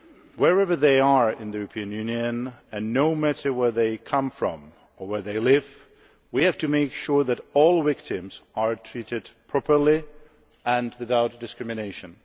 Wherever they are in the European Union and no matter where they come from or where they live, we have to make sure that all victims are treated properly and without discrimination.